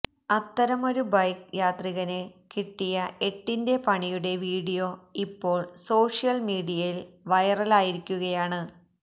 അത്തരമൊരു ബൈക്ക് യാത്രികന് കിട്ടിയ എട്ടിന്റെ പണിയുടെ വീഡിയോ ഇപ്പോള് സോഷ്യല് മീഡിയയില് വൈറലായിരിക്കുകയാണ്